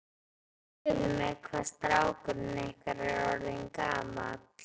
Segðu mér, hvað er strákurinn ykkar orðinn gamall?